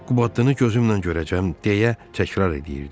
Qubadlını gözümlə görəcəm deyə təkrar eləyirdi.